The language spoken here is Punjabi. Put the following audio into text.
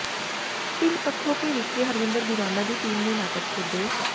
ਪਿੰਡ ਪੱਖੋਕੇ ਵਿਖੇ ਹਰਵਿੰਦਰ ਦੀਵਾਨਾ ਦੀ ਟੀਮ ਨੇ ਨਾਟਕ ਖੇਡੇ